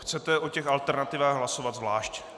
Chcete o těch alternativách hlasovat zvlášť.